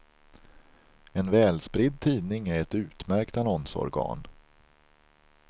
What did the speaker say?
En välspridd tidning är ett utmärkt annonsorgan.